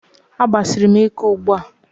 A gbasiri m ike ugbua